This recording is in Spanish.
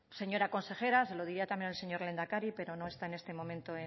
señora consejera se lo diría también el señor lehendakari pero no está en este momento